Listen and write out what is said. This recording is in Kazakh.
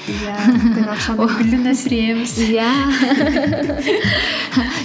иә гүлін өсіреміз иә